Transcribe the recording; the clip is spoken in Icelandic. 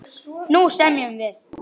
Nú semjum við!